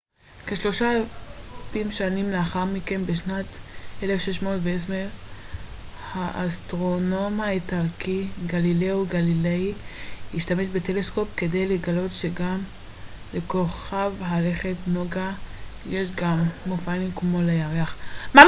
כשלושת אלפים שנים לאחר מכן בשנת 1610 האסטרונום האיטלקי גלילאו גליליי השתמש בטלסקופ כדי לגלות שגם לכוכב הלכת נוגה יש מופעים כמו לירח